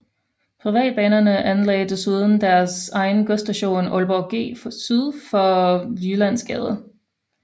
Privatbanerne anlagde desuden deres egen godsstation Aalborg G syd for Jyllandsgade